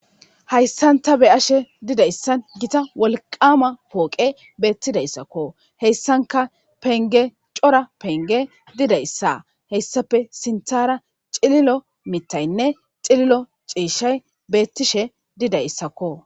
Hayssan ta be7ashe dizayssan wolqqama pooqe beetidayssako. Hessankka pengge cora didayssa. Hessappe sintaara cililo mittaynne cililo ciishshay beettishe didayssakko.